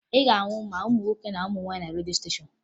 Ị ga-ahụ ma ụmụ nwoke ma ụmụ nwaanyị na redio steshọn